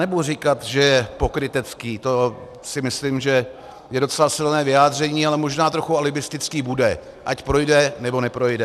Nebudu říkat, že je pokrytecký, to si myslím, že je docela silné vyjádření, ale možná trochu alibistický bude, ať projde, nebo neprojde...